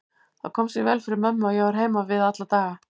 Það kom sér vel fyrir mömmu að ég var heima við alla daga.